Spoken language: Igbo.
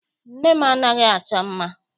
Nne m anaghị achọ mma.